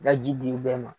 Ka ji di bɛɛ ma